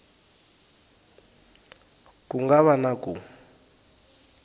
ku nga va na ku